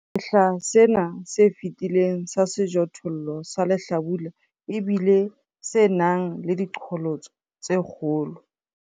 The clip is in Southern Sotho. Sehla sena se fetileng sa sejothollo sa lehlabula e bile se nang le diqholotso tse kgolo.